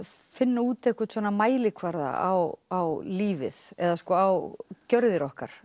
finna út einhvern mælikvarða á lífið eða á gjörðir okkar